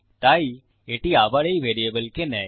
তাই এটি আবার এই ভ্যারিয়েবলকে নেয়